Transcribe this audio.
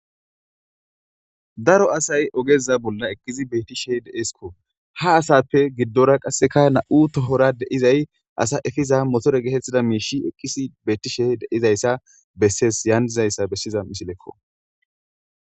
daro asay ogeza bolla ekkizi betti she de7eskko ha asappe giddora qasseka na7u tohora deizay asa efiza motore geetettida miishi eqqisi beyttishe deizayssa besses yaandizayssa bessiza misilekko